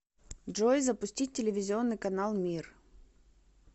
джой запустить телевизионный канал мир